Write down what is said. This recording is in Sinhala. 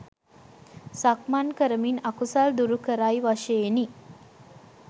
සක්මන් කරමින් අකුසල් දුරුකරයි වශයෙනි.